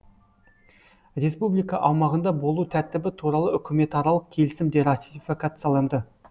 республика аумағында болу тәртібі туралы үкіметаралық келісім де ратификацияланды